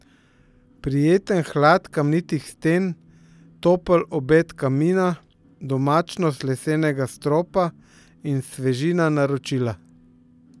Prijeten hlad kamnitih sten, topel obet kamina, domačnost lesenega stropa in svežina naročila.